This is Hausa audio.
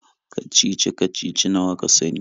kacici-kacici nawa ka sani.